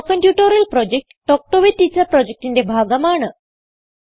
spoken tutorial project talk to a teacher പ്രൊജക്റ്റിന്റെ ഭാഗമാണ്